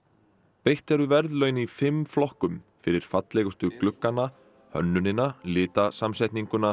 veitt eru verðlaun í fimm flokkum fyrir fallegustu gluggana hönnunina